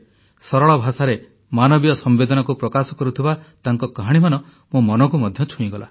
ସରଳ ଭାଷାରେ ମାନବୀୟ ସମ୍ବେଦନାକୁ ପ୍ରକାଶ କରୁଥିବା ତାଙ୍କ କାହାଣୀମାନ ମୋ ମନକୁ ମଧ୍ୟ ଛୁଇଁଗଲା